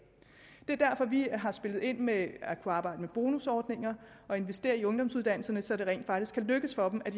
er derfor at vi har spillet ind med at kunne arbejde med bonusordninger og investere i ungdomsuddannelserne så det rent faktisk kan lykkes for dem at